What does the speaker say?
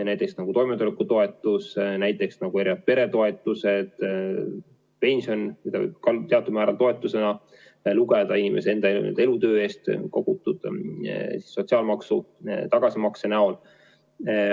Näiteks on toimetulekutoetus, erinevad peretoetused, pension, mida võib ka teatud määral toetuseks pidada,.